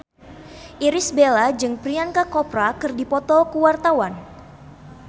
Irish Bella jeung Priyanka Chopra keur dipoto ku wartawan